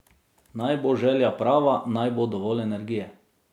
Naj bo želja prava, naj bo dovolj energije.